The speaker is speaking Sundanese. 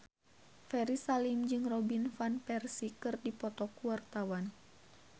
Ferry Salim jeung Robin Van Persie keur dipoto ku wartawan